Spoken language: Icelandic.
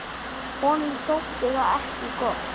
Honum þótti það ekki gott.